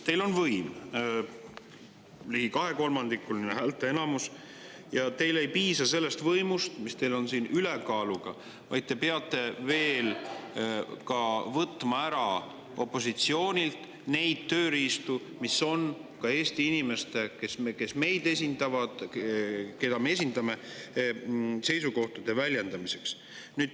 Teil on võim, ligi kahekolmandikuline häälteenamus, ja teile ei piisa sellest võimust, mis teil siin ülekaalu tõttu on, vaid te peate veel võtma ära opositsioonilt ka neid tööriistu, mis on Eesti inimeste, keda me esindame, seisukohtade väljendamiseks.